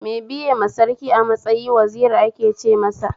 Me biyema Sarki a matsayi Waziri ake ce masa